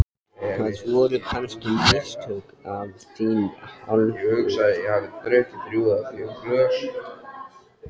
Voru þetta kannski mistök af þinni hálfu?